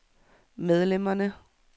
medlemmerne